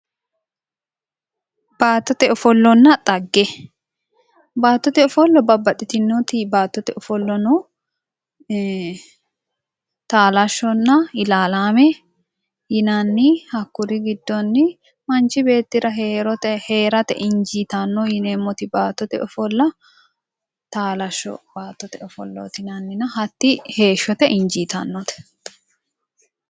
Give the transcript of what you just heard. baattote ofollanna xagge baattote ofolla babbaxxitinoti baattote ofolla no taalashshonna ilaalaame yinanni hakkuri giddonnino manchi beettira heerate injiitanno yineemmoti baattote ofolla taalashsho baattote ofollaati yinanni hatti heeshshote injiitanno.